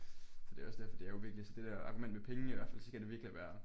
Så det er også derfor det er jo virkelig så det der argument med penge i hvert fald så skal det virkelig være